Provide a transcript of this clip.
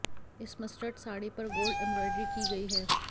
इस मस्टर्ड साड़ी पर gold embroidery की गई है